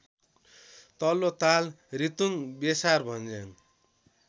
Tallotal Ritung Besarbhanjyang